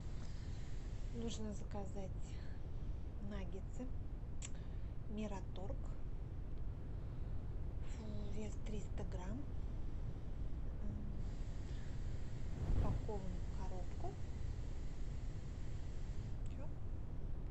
нужно заказать наггетсы мираторг вес триста грамм упакован в коробку все